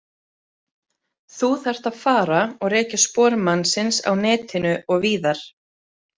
Þú þarft að fara og rekja spor mannsins á netinu og víðar.